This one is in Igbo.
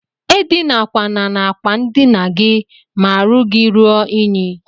Edinakwana n'akwa ndina gi ma arụ gi rue inyi.